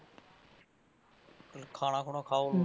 ਚੱਲ ਖਾਣਾ ਖੂਣਾ ਖਾਓ।